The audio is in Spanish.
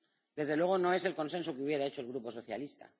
Desde luego, no es el consenso que hubiera hecho el Grupo socialista.